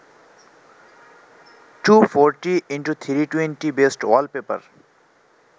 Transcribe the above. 240x320 best wallpaper